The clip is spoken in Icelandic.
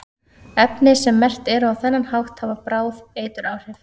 efni sem merkt eru á þennan hátt hafa bráð eituráhrif